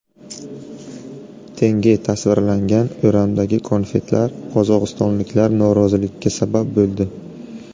Tenge tasvirlangan o‘ramdagi konfetlar qozog‘istonliklar noroziligiga sabab bo‘ldi.